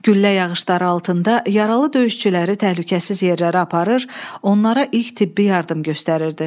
Güllə yağışları altında yaralı döyüşçüləri təhlükəsiz yerlərə aparır, onlara ilk tibbi yardım göstərirdi.